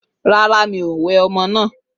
Rárá, mi ò wẹ ọmọ náà.